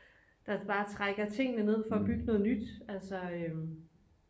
der bare trækker tingene ned for at bygge noget nyt